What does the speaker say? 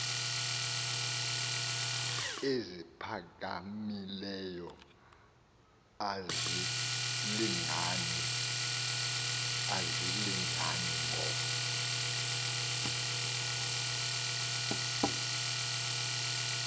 eziphakamileyo azilingani ngo